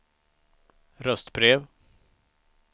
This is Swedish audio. röstbrev